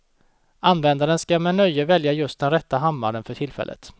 Användaren skall med nöje välja just den rätta hammaren för tillfället.